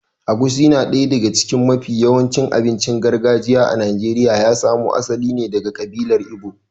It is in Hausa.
Egusi na daya daga cikin mafi yawan abincin gargajiya a Najeriya ya samo asali ne daga ƙabilar Igbo.